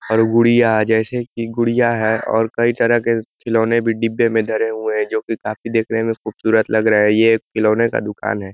और गुड़ियाँ है। जैसे की गुड़ियाँ है और कई तरह के खिलौने भी डिब्बे में धरे हुए जो कि काफ़ी दिखने में खूबसूरत लग रहे हैं। यह एक खिलौने का दुकान है।